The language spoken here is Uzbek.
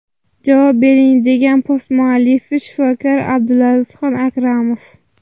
Javob bering!” degan post muallifi, shifokor Abdulazizxon Akramov.